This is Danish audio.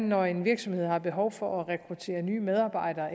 når en virksomhed har behov for at rekruttere nye medarbejdere